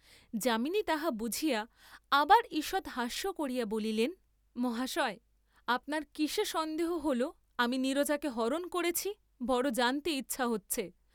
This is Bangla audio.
যামিনী তাহা বুঝিয়া আবার ঈষৎ হাস্য করিয়া বলিলেন, মহাশয় আপনার কিসে সন্দেহ হ’ল আমি নীরজাকে হরণ করেছি, বড় জানতে ইচ্ছা হচ্ছে।